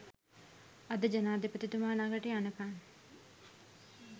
අද ජනාධිපතිතුමා ලඟට යනකන්